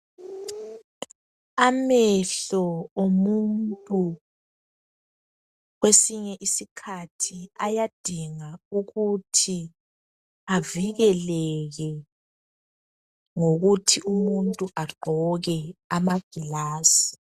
Amehlo omuntu kwesinye isikhathi ayadinwa, ukuthi avikeleke ngokuthi umuntu agqoke ama ngilazi.